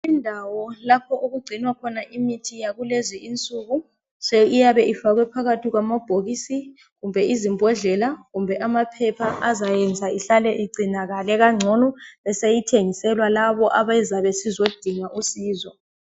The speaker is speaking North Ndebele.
Indawo lapho okugcinwa khona imithi yakulezi insuku, iyabe ifakwe phakathi kwamabhokisi kumbe izimbodlela kumbe amaphepha azayenza ihlale igcinakale kangcono beseyithengiselwa labo ababuya bezodinga usizo.